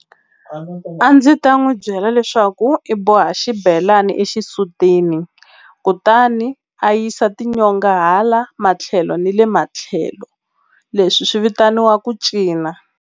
A ndzi ta n'wi byela leswaku i boha xibelani exisutini kutani a yisa tinyonga hala matlhelo ni le matlhelo leswi swi vitaniwa ku cina.